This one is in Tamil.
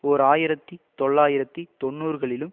ஓர் ஆயிரத்தி தொள்ளாயிரத்தி தொன்னூறுகளிலும்